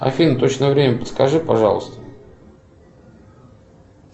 афина точное время подскажи пожалуйста